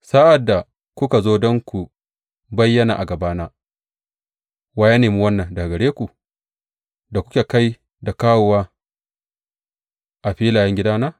Sa’ad da kuka zo don ku bayyana a gabana, wa ya nemi wannan daga gare ku, da kuke kai da kawowa a filayen gidana?